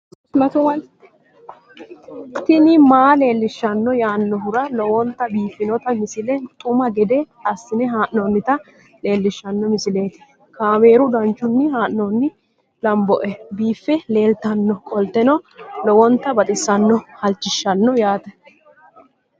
tini maa leelishshanno yaannohura lowonta biiffanota misile xuma gede assine haa'noonnita leellishshanno misileeti kaameru danchunni haa'noonni lamboe biiffe leeeltannoqolten lowonta baxissannoe halchishshanno yaate